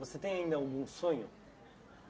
Você tem ainda algum sonho?